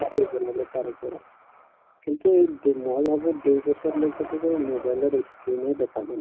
study কৰিব লাগে তাৰ ওপৰত কিন্তু এই মই ভাবো দুইবছৰ লৈকেতো mobile ৰ ই screen য়ে দেখাব